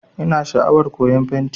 Ina sha'awar koyan fenti